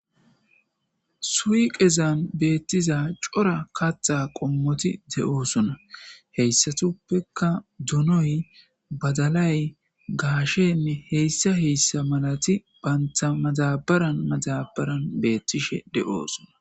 suiqezan beettiza cora kattha qommoti de7oosona heyssatuppeka donoy badalay gaasheme heyssa heyssa malati baynta mazabaran mazabaran beettishe de7oosona